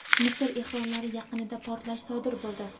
Misr ehromlari yaqinida portlash sodir bo‘ldi.